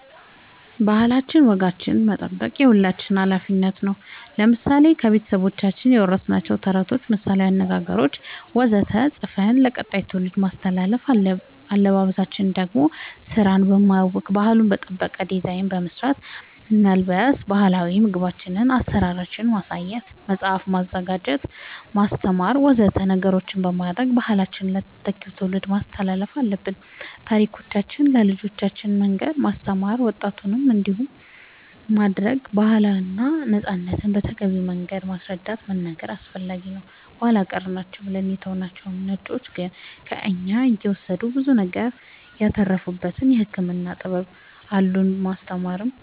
ባህላችን ወጋችን መጠበቅ የሁላችንም አላፊነት ነው ለምሳሌ ከቤተሰቦቻችን የወረስናቸውን ተረቶች ምሳላዊ አነገገሮች ወዘተ ፅፈን ለቀጣይ ትውልድ ማስተላለፍ አለበበሳችን ደሞ ስራን በማያውክ ባህሉን በጠበቀ ዲዛይን በመስራት መልበስ ባህላዊ ምግቦቻችን አሰራራቸውን ማሳየት መፅአፍ መስራት ማስተማር ወዘተ ነገሮች በማድረግ ባህላችንን ለተተኪው ትውልድ ማስተላለፍ አለብን ታሪኮቻችን ለልጆቻን መንገር ማስተማር ወጣቱም እንዲያውቅ ማረግ ባህልና ነፃነትን በተገቢው መንገድ ማስረዳት መናገር አስፈላጊ ነው ኃላ ቀር ናቸው ብለን የተውናቸው ነጮቹ ግን ከእኛ እየወሰዱ ብዙ ነገር ያተረፉበት የህክምና ጥበብ አሉን ማስተማር